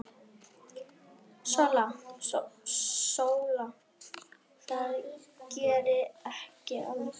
SÓLA: Það geri ég aldrei!